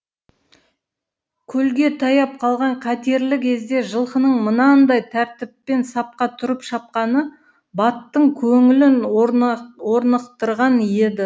көлге таяп қалған қатерлі кезде жылқының мынандай тәртіппен сапқа тұрып шапқаны баттың көңілін орнықтырған еді